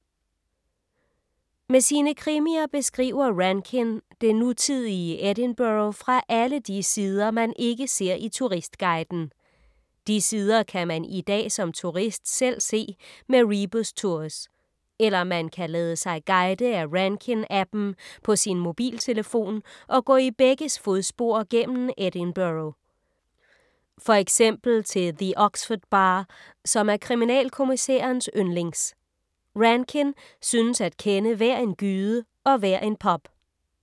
Med sine krimier beskriver Rankin det nutidige Edinburgh fra alle de sider, man ikke ser i turistguiden. De sider kan man i dag som turist selv se med Rebus Tours. Eller man kan lade sig guide af Rankin-appen på sin mobiltelefon og gå i begges fodspor gennem Edinburgh. For eksempel til The Oxford Bar, som er kriminalkommissærens yndlings. Rankin synes at kende hver en gyde og hver en pub.